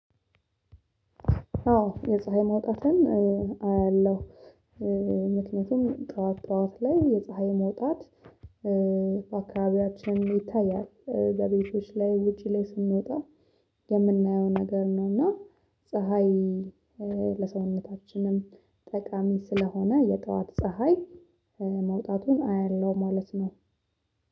አዎ የፀሀይ መውጣትን አያለሁ። ምክንያቱም ጠዋት ጠዋት ላይ የፀሀይ መውጣት በአካባቢያችን ይታያል በቤቶች ላይ ውጪ ላይ ስንወጣ የምናየው ነገር ነው። እና ፀሀይ ለሰውነታችንም ጠቀም ስለሆነ የጠዋት ፀሀይ መውጣቱን አያለሁ ማለት ነው።